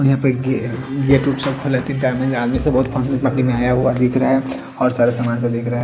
यहाँ पे एक गेट आया हुआ दिख रहा है और सारा सामान सा आया हुआ दिख रहा है।